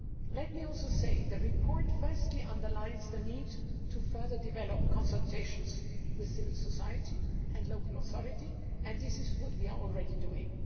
Let me also say that the report, firstly, underlines the need to further develop consultations with civil society and local authorities, which is what we are already doing.